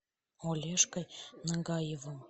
олежкой нагаевым